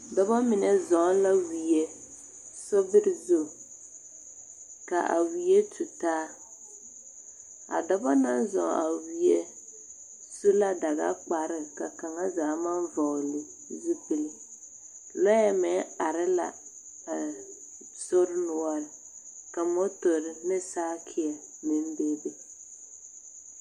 Dɔba mine zɔŋ la wie sobiri zu ka a wie tu taa a dɔba naŋ zɔŋ a wie su la dagakpare ka kaŋ zaa maŋ vɔgle zupili lɔɛ meŋ are la a sori noɔre ka motori ne saakeɛ meŋ bebe.